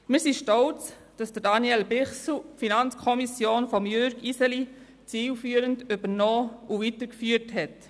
Wir sind stolz, dass Daniel Bichsel die FiKo von Jürg Iseli zielführend übernommen und weitergeführt hat.